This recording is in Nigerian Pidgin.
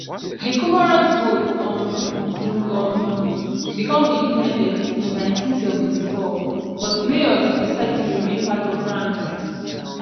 di comoros vote um to um become independent in 1974 but mayotte decide to remain part of france